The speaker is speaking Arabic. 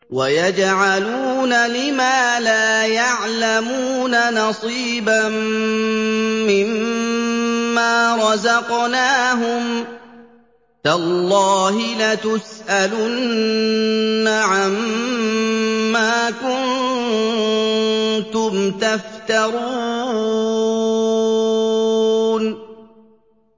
وَيَجْعَلُونَ لِمَا لَا يَعْلَمُونَ نَصِيبًا مِّمَّا رَزَقْنَاهُمْ ۗ تَاللَّهِ لَتُسْأَلُنَّ عَمَّا كُنتُمْ تَفْتَرُونَ